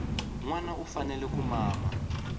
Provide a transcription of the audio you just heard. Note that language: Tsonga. nwana u fanele ku mama